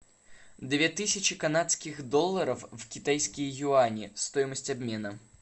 две тысячи канадских долларов в китайские юани стоимость обмена